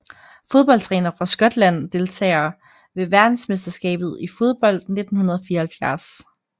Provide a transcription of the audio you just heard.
Fodboldtrænere fra Skotland Deltagere ved verdensmesterskabet i fodbold 1974